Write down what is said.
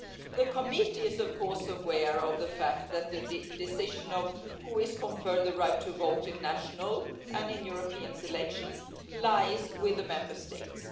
The committee is aware of the fact that the decision on who is conferred the right to vote in national and European elections lies with the Member States.